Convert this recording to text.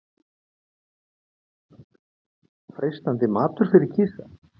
En skyldu fiskarnir í kerjunum ekki vera freistandi matur fyrir kisa?